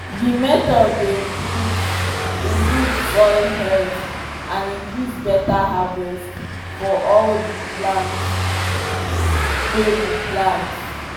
this method dey improve improve soil health and increase better harverst for all the palnt wy we plant